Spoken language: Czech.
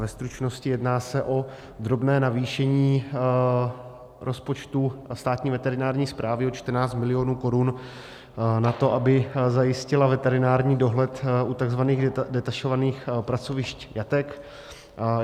Ve stručnosti, jedná se o drobné navýšení rozpočtu Státní veterinární správy o 14 mil. korun na to, aby zajistila veterinární dohled u tzv. detašovaných pracovišť jatek.